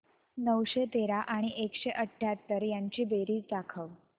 नऊशे तेरा आणि एकशे अठयाहत्तर यांची बेरीज दाखव